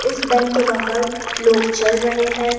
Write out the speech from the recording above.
इस बैंक के बाहर लोग चल रहे हैं।